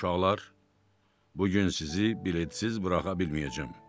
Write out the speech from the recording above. Uşaqlar, bu gün sizi biletsiz buraxa bilməyəcəm.